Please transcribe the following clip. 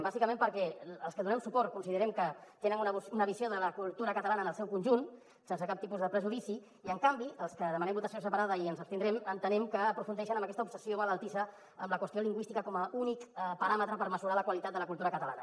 bàsicament perquè als que hi donem suport considerem que tenen una visió de la cultura catalana en el seu conjunt sense cap tipus de prejudici i en canvi dels que demanem votació separada i ens hi abstindrem entenem que aprofundeixen amb aquesta obsessió malaltissa en la qüestió lingüística com a únic paràmetre per mesurar la qualitat de la cultura catalana